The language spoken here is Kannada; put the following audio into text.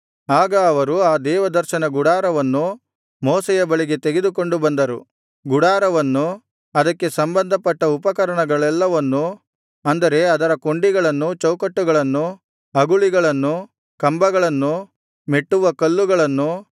ಆಗ ಅವರು ಆ ದೇವದರ್ಶನ ಗುಡಾರವನ್ನು ಮೋಶೆಯ ಬಳಿಗೆ ತೆಗೆದುಕೊಂಡು ಬಂದರು ಗುಡಾರವನ್ನು ಅದಕ್ಕೆ ಸಂಬಂಧಪಟ್ಟ ಉಪಕರಣಗಳೆಲ್ಲವನ್ನೂ ಅಂದರೆ ಅದರ ಕೊಂಡಿಗಳನ್ನು ಚೌಕಟ್ಟುಗಳನ್ನು ಅಗುಳಿಗಳನ್ನು ಕಂಬಗಳನ್ನು ಮೆಟ್ಟುವಕಲ್ಲುಗಳನ್ನು